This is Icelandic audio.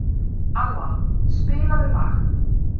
Alla, spilaðu lag.